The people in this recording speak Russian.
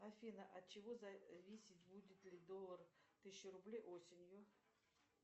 афина от чего зависит будет ли доллар тысячу рублей осенью